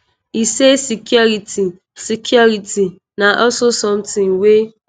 e say security security na also somtin wey